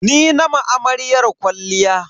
Ni na ma amaryar kwalliya.